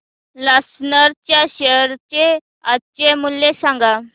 Larsen च्या share चे आजचे मूल्य सांगा